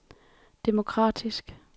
demokratisk